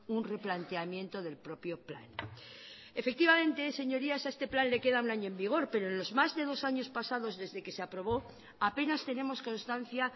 un replanteamiento del propio plan efectivamente señorías a este plan le queda un año en vigor pero en los más de dos años pasados desde que se aprobó apenas tenemos constancia